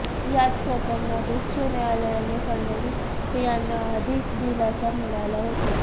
याच प्रकरणात उच्च न्यायालयाने फडणवीस यांना आधीच दिलासा मिळाला होता